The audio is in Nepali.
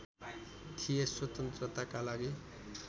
थिए स्वतन्त्रताका लागि